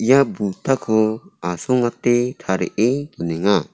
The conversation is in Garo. ia buddha-ko asongate tarie donenga.